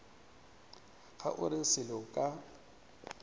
ga o re selo ka